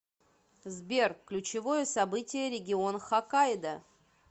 сбер ключевое событие регион хоккайдо